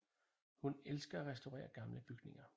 Hun elsker at restaurere gamle bygninger